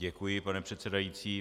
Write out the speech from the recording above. Děkuji, pane předsedající.